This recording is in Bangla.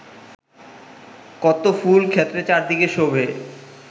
কত ফুল-ক্ষেত্র চারিদিকে শোভে